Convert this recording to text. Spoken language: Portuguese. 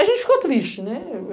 A gente ficou triste, né?